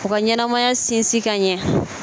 U ka ɲɛnamaya sinsin ka ɲɛ